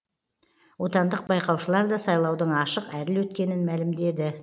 отандық байқаушылар да сайлаудың ашық әділ өткенін мәлімдеді